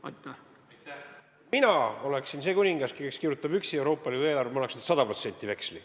Kui mina oleksin see kuningas, kes kirjutab üksi Euroopa Liidu eelarvet, siis ma annaksin 100% veksli.